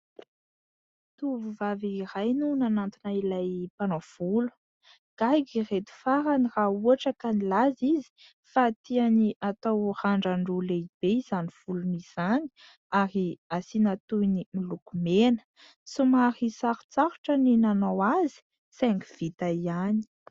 Tovovavy iray no nanantona ilay mpanao volo. Gaga ireto farany raha ohatra ka nilaza izy fa tiany hatao randran-droa lehibe izany volony izany ary asiana toy ny miloko mena. Somary sarotsarotra ny nanao azy saingy vita ihany.